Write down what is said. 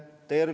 Aitäh teile!